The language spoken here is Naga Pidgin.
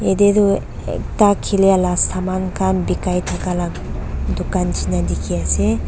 Yathe tuh ekta khilya la saman khan bekai thaka la dukhan neshina dekhey ase.